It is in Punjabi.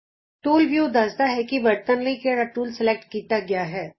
ਟੂਲ ਵਿਉ ਤੁਹਾਨੂ ਦੱਸਦਾ ਹੈ ਕਿ ਵਰਤਣ ਲਈ ਕਿਹੜਾ ਟੂਲ ਸਲੈਕਟ ਕੀਤਾ ਗਿਆ ਹੈ